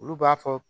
Olu b'a fɔ